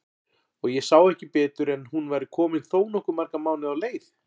Og ég sá ekki betur en hún væri komin þó nokkuð marga mánuði á leið!